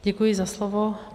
Děkuji za slovo.